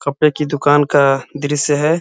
कपड़े की दुकान का दृश्य है।